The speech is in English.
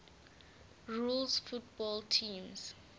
rules football teams